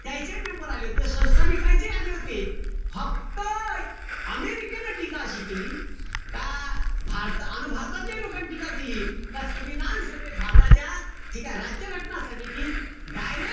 त्याईचेही member आले होते. संस्थानिकायचेहि आले होते. फक्त अमेरिकेनं टीका अशी केली, का भारता अन भारतीय लोकांनी टीका केली, का संविधान सभेत भारताच्या ठीकेय? राज्य घटना समितीत direct,